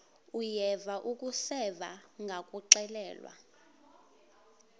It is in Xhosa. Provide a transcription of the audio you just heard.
uyeva akuseva ngakuxelelwa